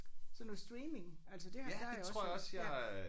Sådan noget streaming altså det har der har jeg også hørt ja